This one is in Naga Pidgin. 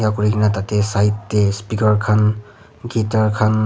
buhi kena tatee side te speaker khan guitar khan--